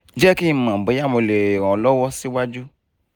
jẹ ki n mọ boya mo le ran ọ lọwọ siwaju